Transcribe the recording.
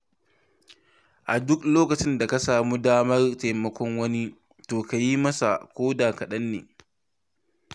A duk lokacin da ka samu damar taimakon wani to ka yi masa ko da kaɗanne.